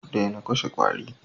Daina kashe kwari